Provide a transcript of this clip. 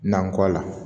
Nankɔ la